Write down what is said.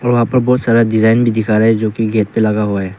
और वहां पर बहुत सारा डिजाइन भी दिखा रहा है जो की गेट पे लगा हुआ है।